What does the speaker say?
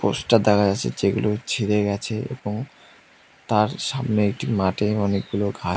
poster দেওয়া আসে যেগুলো ছিঁড়ে গেছে এবং তার সামনে একটি মাঠে অনেকগুলো ঘা--